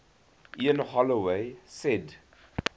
ian holloway said